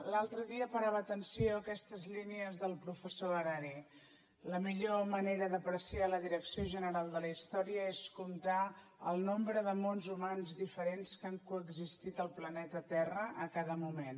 l’altre dia parava atenció a aquestes línies del professor harari la millor manera d’apreciar la direcció general de la història és comptar el nombre de mons humans diferents que han coexistit al planeta terra a cada moment